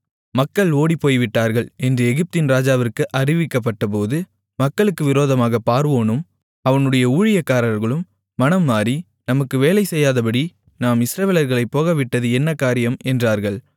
மக்கள் ஓடிப்போய்விட்டார்கள் என்று எகிப்தின் ராஜாவிற்கு அறிவிக்கப்பட்டபோது மக்களுக்கு விரோதமாகப் பார்வோனும் அவனுடைய ஊழியக்காரர்களும் மனம் மாறி நமக்கு வேலை செய்யாதபடி நாம் இஸ்ரவேலர்களைப் போகவிட்டது என்ன காரியம் என்றார்கள்